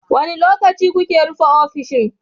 Wane lokaci kuke rufe ofishin?